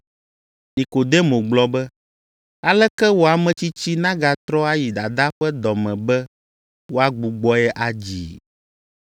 Nikodemo gblɔ be, “Aleke wɔ ametsitsi nagatrɔ ayi dadaa ƒe dɔ me be woagbugbɔe adzii?”